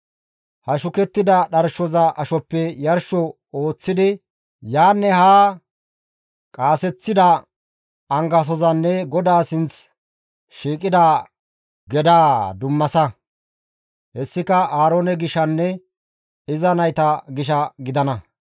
«He shukettida dharshoza ashoppe yarsho ooththidi yaanne haa qaaseththida angasozanne GODAA sinth shiiqida gedaa dummasa. Hessika Aaroone gishanne iza nayta gisha gidana.